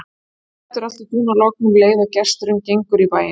Það dettur allt í dúnalogn um leið og gesturinn gengur í bæinn.